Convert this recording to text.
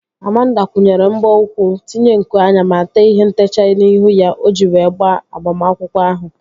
Amanda kwụnyere mbọ ụkwụ, tinye nku anya ma tee ihe ntechaa n'ihu ya o ji wee gaa agbamakwụkwọ ahụ